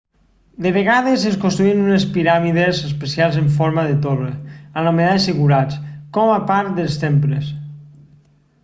de vegades es construïen unes piràmides especials en forma de torre anomenades zigurats com a part dels temples